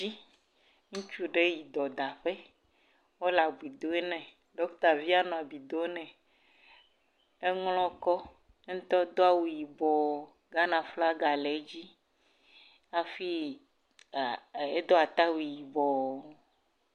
Ŋutsu ɖe yi dɔdaƒe wole abi do nɛ, ɖɔkita via nɔ abi dom nɛ, emia ko, ya ŋutɔ do awu yibɔ Ghana flaga le edzi, afi a..edo ata wui yibɔɔ.